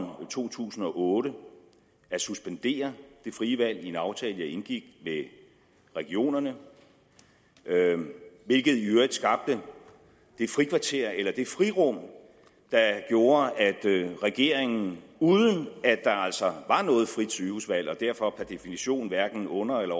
to tusind og otte at suspendere det frie valg i en aftale jeg indgik med regionerne hvilket i øvrigt skabte det frikvarter eller det frirum der gjorde at regeringen uden at der altså var noget frit sygehusvalg og derfor per definition hverken under eller